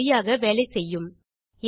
இது சரியாக வேலை செய்யும்